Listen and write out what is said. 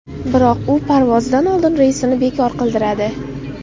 Biroq u parvozdan oldin reysini bekor qildiradi.